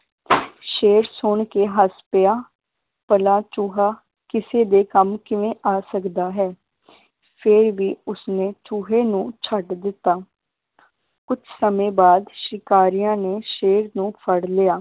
ਸ਼ੇਰ ਸੁਣ ਕੇ ਹੱਸ ਪਿਆ ਭਲਾ ਚੂਹਾ ਕਿਸੇ ਦੇ ਕੰਮ ਕਿਵੇਂ ਆ ਸਕਦਾ ਹੈ ਫੇਰ ਵੀ ਉਸਨੇ ਚੂਹੇ ਨੂੰ ਛੱਡ ਦਿੱਤਾ ਕੁਛ ਸਮੇ ਬਾਅਦ ਸ਼ਿਕਾਰੀਆਂ ਨੇ ਸ਼ੇਰ ਨੂੰ ਫੜ ਲਿਆ